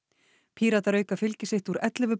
Píratar auka fylgi sitt úr ellefu